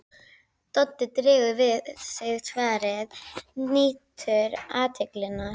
Doddi dregur við sig svarið, nýtur athyglinnar.